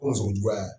O sogo juguya